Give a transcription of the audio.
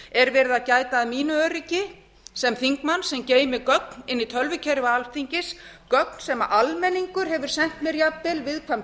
er verið að gæta að mínu öryggi sem þingmanns sem geymir gögn í tölvukerfi alþingis gögn sem almenningur hefur sent mér jafnvel viðkvæm